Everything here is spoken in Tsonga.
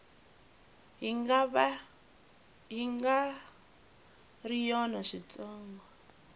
yi nga ri yona switsongo